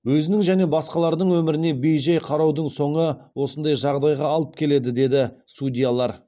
өзінің және басқалардың өміріне бей жай қараудың соңы осындай жағдайға алып келеді дейді судьялар